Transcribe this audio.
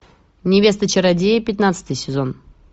невеста чародея пятнадцатый сезон